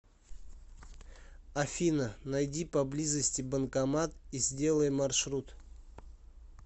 афина найди поблизости банкомат и сделай маршрут